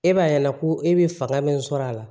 E b'a ye ko e bɛ fanga min sɔr'a la